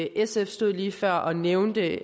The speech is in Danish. sf stod lige før og nævnte